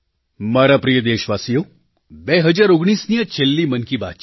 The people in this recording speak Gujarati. મારા પ્રિય દેશવાસીઓ 2019ની આ છેલ્લી મન કી બાત છે